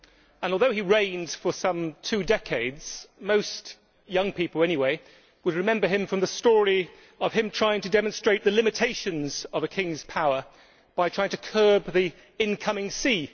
And although he reigned for some two decades, most young people anyway would remember him from the story of his trying to demonstrate the limitations of a king's power by trying to curb the incoming sea.